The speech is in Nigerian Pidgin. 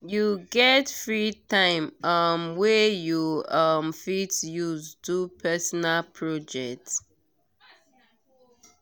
you get free time um wey you um fit use do personal project?